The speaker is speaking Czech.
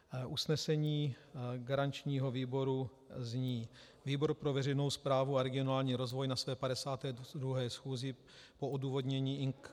Usnesení garančního výboru zní: "Výbor pro veřejnou správu a regionální rozvoj na své 52. schůzi po odůvodnění Ing.